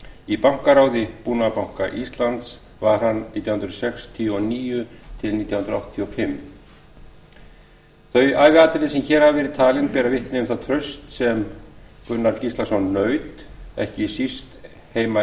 í bankaráði búnaðarbanka íslands var hann nítján hundruð sextíu og níu til nítján hundruð áttatíu og fimm þau æviatriði sem hér hafa verið talin bera vitni um það traust sem gunnar gíslason naut ekki síst heima